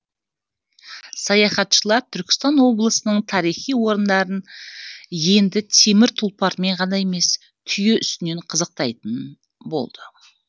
саяхатшылар түркістан облысының тарихи орындарын енді темір тұлпармен ғана емес түйе үстінен қызықтайтын болды